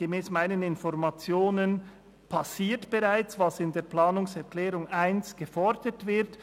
Gemäss meinen Informationen passiert bereits, was in der Planungserklärung 1 gefordert wird.